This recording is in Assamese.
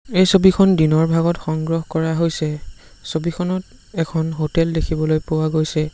এই ছবিখন দিনৰ ভাগত সংগ্ৰহ কৰা হৈছে ছবিখনত এখন হোটেল দেখিবলৈ পোৱা গৈছে।